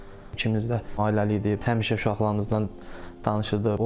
İkimiz də ailəliyik, həmişə uşaqlarımızdan danışırdıq.